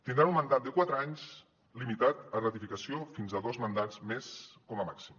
tindran un mandat de quatre anys limitat a ratificació fins a dos mandats més com a màxim